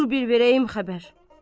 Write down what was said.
Dur bir verəyim xəbər.